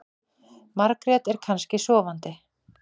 Margrét er kannski sofandi.